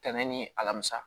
Tɛnɛn ni alamisa